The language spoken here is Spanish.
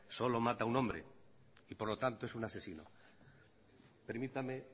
solo mata un hombre y por lo tanto es un asesino permítame